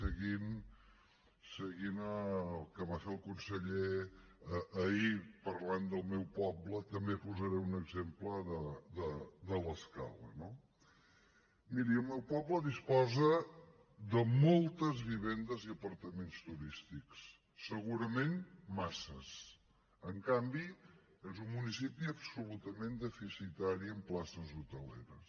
seguint el que va fer el conseller ahir parlant del meu poble també posaré un exemple de l’escala no miri el meu poble disposa de moltes vivendes i apartaments turístics segurament massa en canvi és un municipi absolutament deficitari en places hoteleres